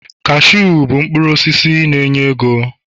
cashew bụ mkpụrụ osisi na enye ego